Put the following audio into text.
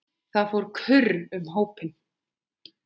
Það fór kurr um hópinn.